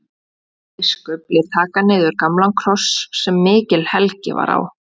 Biskup lét taka niður gamlan kross sem mikil helgi var á.